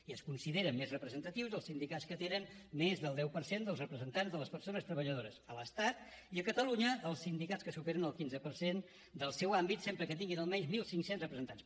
i es consideren més representatius els sindicats que tenen més del deu per cent dels representants de les persones treballadores a l’estat i a catalunya els sindicats que superen el quinze per cent del seu àmbit sempre que tinguin almenys mil cinc cents representants